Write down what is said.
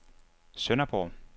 Sønderborg